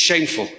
It's shameful.